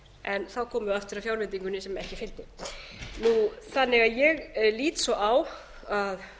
en þá komum við aftur að fjárveitingunni sem ekki fengist ég lít svo á að